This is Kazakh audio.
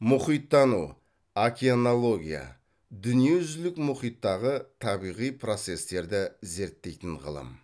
мұхиттану океанология дүниежүзілік мұхиттағы табиғи процестерді зерттейтін ғылым